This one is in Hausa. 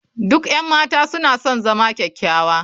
Duk 'yan mata suna son zama kyakkyawa.